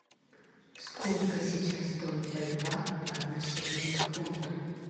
сколько сейчас стоит боливар по отношению к фунту